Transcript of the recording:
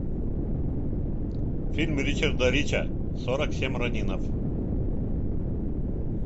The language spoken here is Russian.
фильм ричарда рича сорок семь ронинов